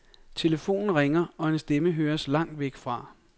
Telefonen ringer, og en stemme høres langt væk fra.